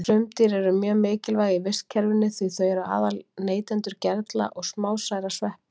Frumdýr eru mjög mikilvæg í vistkerfinu því þau eru aðal neytendur gerla og smásærra sveppa.